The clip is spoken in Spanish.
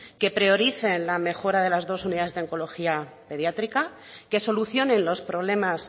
que prioricen la mejora de las dos unidades de oncología pediátrica que solucionen los problemas